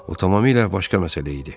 O tamamilə başqa məsələ idi.